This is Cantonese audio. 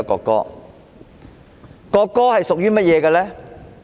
國歌是屬於誰的？